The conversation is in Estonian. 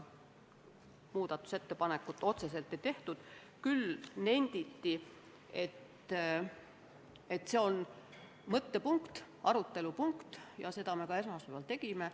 Muudatusettepanekut otseselt ei tehtud, küll aga nenditi, et see on mõttepunkt, arutelupunkt ja seda me ka esmaspäeval arutlesime.